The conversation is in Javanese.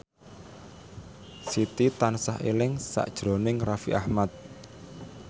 Siti tansah eling sakjroning Raffi Ahmad